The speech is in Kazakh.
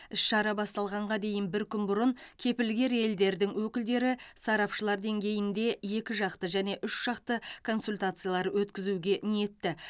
іс шара басталғанға дейін бір күн бұрын кепілгер елдердің өкілдері сарапшылар деңгейінде екі жақты және үш жақты консультациялар өткізуге ниетті